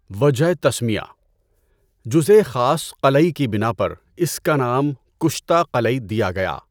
وجہ تسمیہ - جزءِ خاص قلعی کی بنا پر اِس کا نام کشتہ قلعی دیا گیا۔